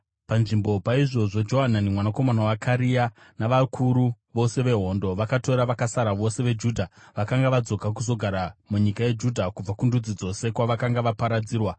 Panzvimbo paizvozvo Johanani mwanakomana waKarea navakuru vose vehondo vakatora vakasara vose veJudha vakanga vadzoka kuzogara munyika yeJudha kubva kundudzi dzose kwavakanga vaparadzirwa.